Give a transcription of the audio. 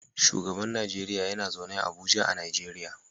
Shugaban Najeriya yana zaune a Abuja a Najeriya.